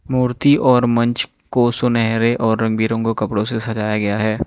मूर्ति और मंच को सुनहरे और रंग बिरंगों कपड़ों से सजाया गया है।